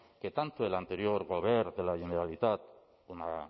que tanto el anterior govern de la generalitat una